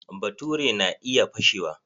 Baturi na iya fashewa.